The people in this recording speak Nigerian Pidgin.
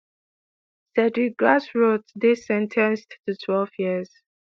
cedric grassot dey sen ten ced to twelve years.